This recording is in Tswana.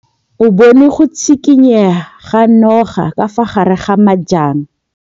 O bone go tshikinya ga noga ka fa gare ga majang.